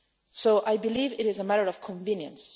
So I believe it is a matter of convenience